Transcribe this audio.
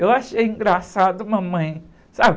Eu achei engraçado, mamãe, sabe?